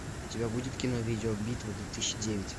у тебя будет кино видеобитва две тысячи девять